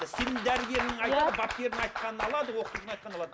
сенің дәрігерің айтты иә бапкерің айтқанын алады оқытушының айтқанын алады